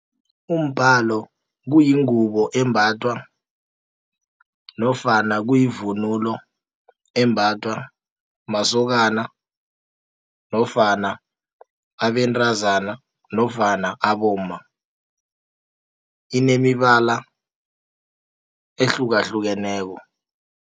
Umbhalo kuyingubo embathwa, nofana kuyivunulo embathwa masokana, nofana abentazana, nofana abomma, inemibala ehlukahlukeneko.